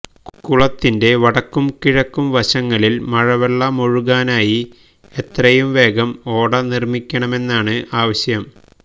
കുളത്തിന്റെ വടക്കും കിഴക്കും വശങ്ങളില് മഴവെള്ളമൊഴുകാനായി എത്രയും വേഗം ഓട നിര്മിക്കണമെന്നാണ് ആവശ്യം